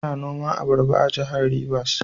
Ana noma abaraba a Jihar Rivers.